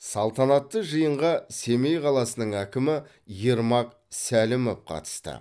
салтанатты жиынға семей қаласының әкімі ермак сәлімов қатысты